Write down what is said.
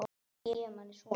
Það gefur manni svona.